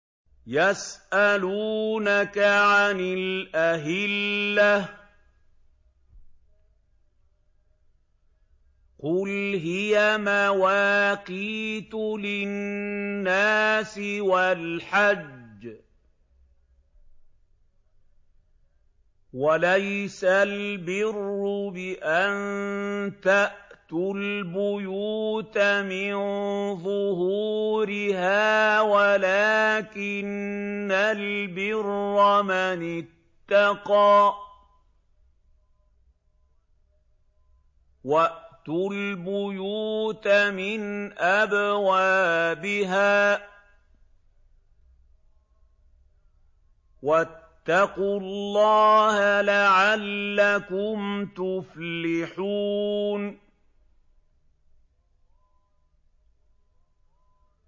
۞ يَسْأَلُونَكَ عَنِ الْأَهِلَّةِ ۖ قُلْ هِيَ مَوَاقِيتُ لِلنَّاسِ وَالْحَجِّ ۗ وَلَيْسَ الْبِرُّ بِأَن تَأْتُوا الْبُيُوتَ مِن ظُهُورِهَا وَلَٰكِنَّ الْبِرَّ مَنِ اتَّقَىٰ ۗ وَأْتُوا الْبُيُوتَ مِنْ أَبْوَابِهَا ۚ وَاتَّقُوا اللَّهَ لَعَلَّكُمْ تُفْلِحُونَ